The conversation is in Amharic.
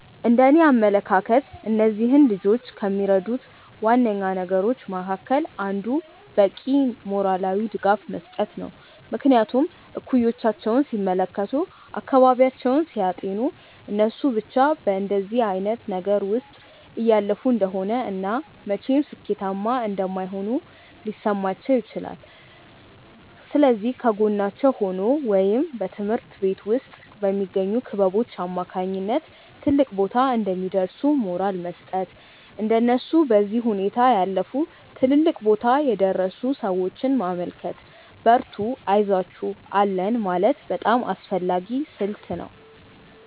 እንደእኔ አመለካከት እነዚህን ልጆች ከሚረዱት ዋነኛ ነገሮች መካከል አንዱ በቂ ሞራላዊ ድጋፍ መስጠት ነው። ምክንያቱም እኩዮቻቸውን ሲመለከቱ፤ አካባቢያቸውን ሲያጤኑ እነሱ ብቻ በእንደዚህ አይነት ነገር ውስጥ እያለፉ እንደሆነ እና መቼም ሥኬታማ እንደማይሆኑ ሊሰማቸው ይችላል። ስለዚህ ከጎናቸው ሆኖ ወይም በትምሀርት ቤት ውስጥ በሚገኙ ክበቦች አማካኝነት ትልቅ ቦታ እንደሚደርሱ ሞራል መስጠት፤ እንደነሱ በዚህ ሁኔታ ያለፉ ትልልቅ ቦታ የደረሱን ሰዎች ማመልከት፤ በርቱ አይዞአችሁ አለን ማለት በጣም አስፈላጊ ስልት ነው።